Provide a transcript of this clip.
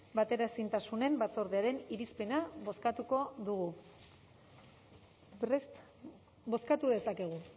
bateraezintasunen batzordearen irizpena bozkatuko dugu prest bozkatu dezakegu